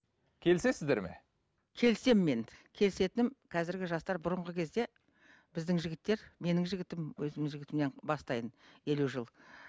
келісесіздер ме келісемін мен келісетінім қазіргі жастар бұрынғы кезде біздің жігіттер менің жігітім өзімнің жігітімнен бастайын елу жыл